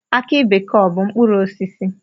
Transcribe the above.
Aki bekee ọ bụ mkpụrụosisi?